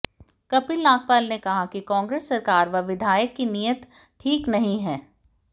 कपिल नागपाल ने कहा कि कांग्रेस सरकार व विधायक की नीयत ठीक नहीं है